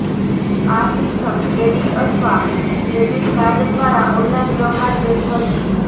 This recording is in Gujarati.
આ સિસ્ટમ ક્રેડિટ અથવા ડેબિટ કાર્ડ દ્વારા ઓનલાઇન વ્યવહાર જેવી હશે